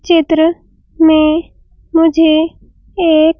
चित्र में मुझे एक --